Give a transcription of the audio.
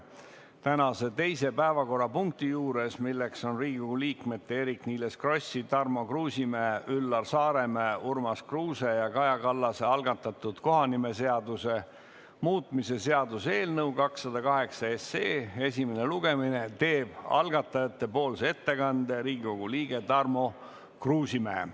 Tänase teise päevakorrapunkti juures, Riigikogu liikmete Eerik-Niiles Krossi, Tarmo Kruusimäe, Üllar Saaremäe, Urmas Kruuse ja Kaja Kallase algatatud kohanimeseaduse muutmise seaduse eelnõu 208 esimese lugemise juures teeb algatajate nimel ettekande Riigikogu liige Tarmo Kruusimäe.